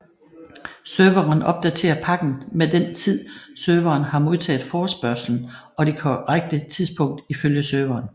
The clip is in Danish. Serveren opdaterer pakken med den tid serveren har modtaget forespørgslen og det korrekte tidspunkt ifølge serveren